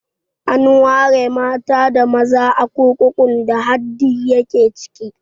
An ware mata da maza a kurkukun da Hadi ya ke ciki